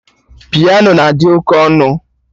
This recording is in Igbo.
Piano na-adị oké ọnụ